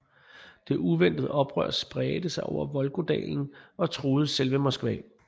Det uventede oprør spredte sig op over Volgadalen og truede selve Moskva